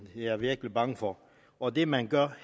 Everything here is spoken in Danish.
er jeg virkelig bange for og det man gør